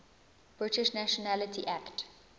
british nationality act